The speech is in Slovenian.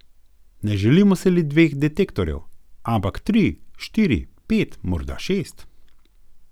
Ne želimo si le dveh detektorjev, ampak tri, štiri, pet, morda šest.